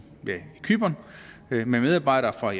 cypern med medarbejdere fra